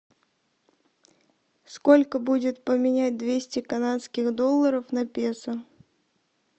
сколько будет поменять двести канадских долларов на песо